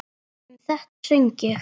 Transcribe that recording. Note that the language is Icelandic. Um þetta söng ég: